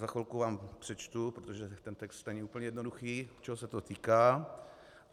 Za chvilku vám přečtu, protože ten text není úplně jednoduchý, čeho se to týká.